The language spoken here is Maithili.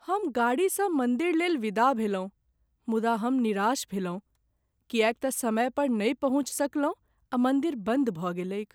हम गाड़ीसँ मन्दिरलेल विदा भेलहुँ मुदा हम निराश भेलहुँ किएक त समय पर नहि पहुँचि सकलहुँ आ मन्दिर बन्द भऽ गेलैक।